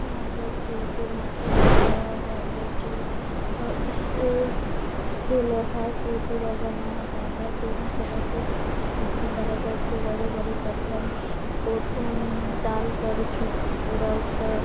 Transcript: यहाँ पर एक मशीन लगाया हुआ है जो अ इसे जो लोहा से पूरा बना हुआ है दोनों तरफ मशीन लगाकर इसको बड़े-बड़े पत्थर को अम्म डाल कर पूरा उसका--